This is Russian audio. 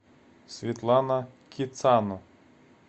светлана кицану